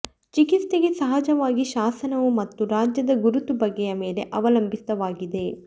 ಚಿಕಿತ್ಸೆಗೆ ಸಹಜವಾಗಿ ಶಾಸನವು ಮತ್ತು ರಾಜ್ಯದ ಗುರುತು ಬಗೆಯ ಮೇಲೆ ಅವಲಂಬಿತವಾಗಿದೆ